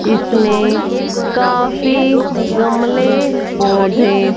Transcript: इसमें काफी गमले पौधे--